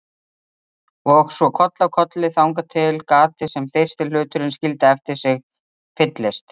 Og svo koll af kolli þangað til gatið sem fyrsti hluturinn skildi eftir sig fyllist.